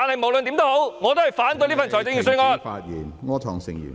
無論如何，我反對這份預算案。